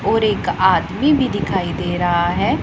और एक आदमी भी दिखाई दे रहा है।